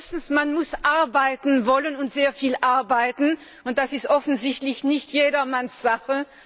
Erstens Man muss arbeiten wollen und sehr viel arbeiten, und das ist offensichtlich nicht jedermanns Sache.